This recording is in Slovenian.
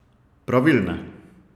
Pravilne!